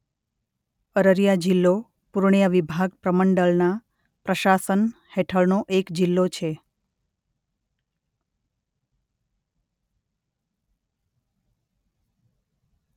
અરરિયા જિલ્લો પૂર્ણિયા વિભાગ પ્રમંડળના પ્રશાસન હેઠળનો એક જિલ્લો છે.